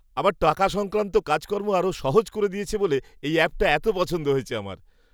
আমার টাকা সংক্রান্ত কাজকর্ম আরও সহজ করে দিয়েছে বলে, এই অ্যাপটা এত পছন্দ আমার।